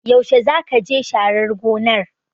Yaushe zakaje sharar gonar?